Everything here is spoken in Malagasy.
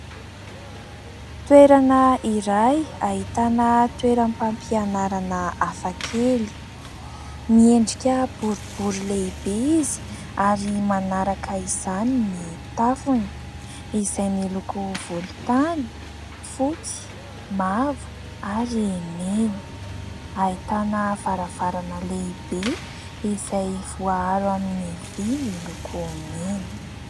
Toerana iray ahitana toeram-pampianarana hafa kely. Miendrika boribory lehibe izy ary manaraka izany ny tafony izay miloko volontany, fotsy, mavo ary mena. Ahitana varavarana lehibe izay voaaro amin'ny vỳ miloko mena.